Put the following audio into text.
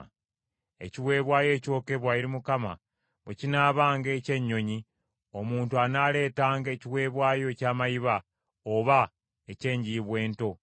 “Ekiweebwayo ekyokebwa eri Mukama bwe kinaabanga eky’ennyonyi, omuntu anaaleetanga ekiweebwayo eky’amayiba oba eky’enjiibwa ento.